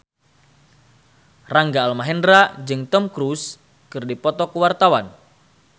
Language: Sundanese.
Rangga Almahendra jeung Tom Cruise keur dipoto ku wartawan